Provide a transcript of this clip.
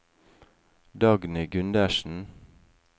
Dagny Gundersen